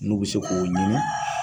N'u bɛ se k'o ɲinin.